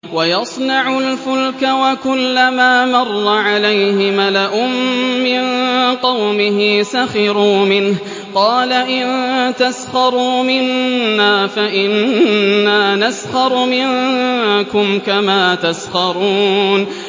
وَيَصْنَعُ الْفُلْكَ وَكُلَّمَا مَرَّ عَلَيْهِ مَلَأٌ مِّن قَوْمِهِ سَخِرُوا مِنْهُ ۚ قَالَ إِن تَسْخَرُوا مِنَّا فَإِنَّا نَسْخَرُ مِنكُمْ كَمَا تَسْخَرُونَ